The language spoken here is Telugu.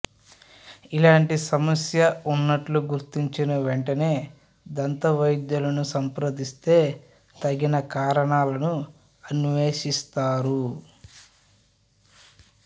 ఇలాంటి సమస్య ఉన్నట్లు గుర్తించిన వెంటనే దంతవైద్యులను సంప్రదిస్తే తగిన కారణాలను అన్వేషిస్తారు